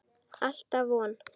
Alltaf von.